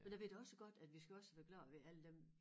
Men jeg ved da også godt at vi skal også være glade ved alle dem